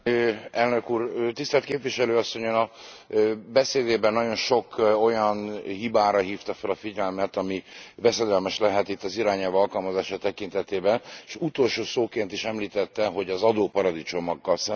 Tisztelt képviselő asszony, Ön a beszédében nagyon sok olyan hibára hívta fel a figyelmet, ami veszedelmes lehet itt az irányelv alkalmazása tekintetében, s utolsó szóként is említette, hogy az adóparadicsomokkal szembeni fellépés.